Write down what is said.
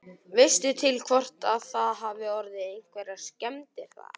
Veistu til hvort að það hafi orðið einhverjar skemmdir þar?